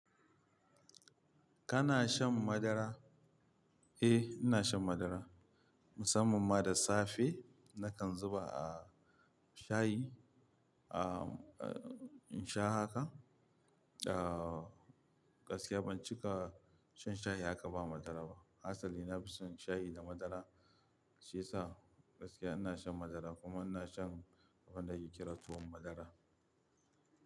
Kana shan madara? Eh, ina shan madara. Musamman ma da safe nakan zuba a shayi, ah, in sha haka. Ah, gaskiya ban cika shan shayi haka ba madara ba. Asali na fi son shayi da madara shiyasa gaskiya ina shan madara kuma ina shan abin da ake kira tuwan madara.